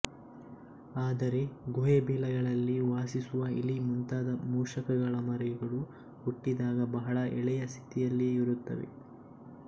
ಆದರೆ ಗುಹೆ ಬಿಲಗಳಲ್ಲಿ ವಾಸಿಸುವ ಇಲಿ ಮುಂತಾದ ಮೂಷಕಗಳ ಮರಿಗಳು ಹುಟ್ಟಿದಾಗ ಬಹಳ ಎಳೆಯ ಸ್ಥಿತಿಯಲ್ಲಿಯೇ ಇರುತ್ತವೆ